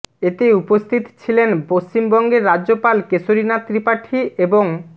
এতে উপস্থিত ছিলেন পশ্চিমবঙ্গের রাজ্যপাল কেশরী নাথ ত্রিপাঠী এবং